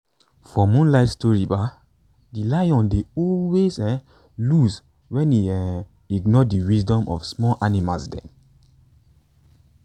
for moonlight stories um de lion dey always um lose wen he um ignore de wisdom of small animals dem